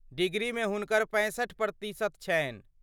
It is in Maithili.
डिग्रीमे हुनकर पैंसठि प्रतिशत छनि।